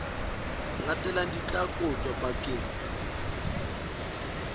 latelang di tla kotjwa bakeng